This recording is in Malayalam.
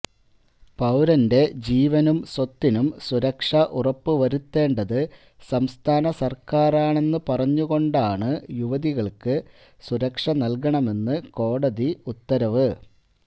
പൌരന്റെ ജീവനും സ്വത്തിനും സുരക്ഷ ഉറപ്പുവരുത്തേണ്ടത് സംസ്ഥാന സർക്കാറാണെന്ന് പറഞ്ഞു കൊണ്ടാണ് യുവതികൾക്ക് സുരക്ഷ നൽകണമെന്ന് കോടതി ഉത്തവര